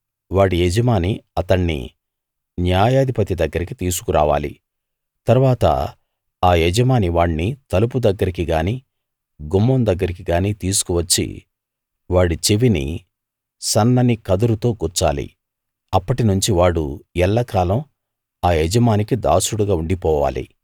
వాడి యజమాని అతణ్ణి న్యాయాధిపతి దగ్గరకి తీసుకు రావాలి తరువాత ఆ యజమాని వాణ్ణి తలుపు దగ్గరికి గానీ గుమ్మం దగ్గరికి గానీ తీసుకువచ్చి వాడి చెవిని సన్నని కదురుతో గుచ్చాలి అప్పటి నుంచి వాడు ఎల్లకాలం ఆ యజమానికి దాసుడుగా ఉండిపోవాలి